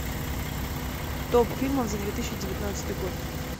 топ фильмов за две тысячи девятнадцатый год